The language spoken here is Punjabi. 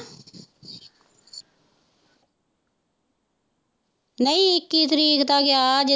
ਨਹੀਂ ਇੱਕੀ ਤਰੀਕ ਦਾ ਗਿਆ।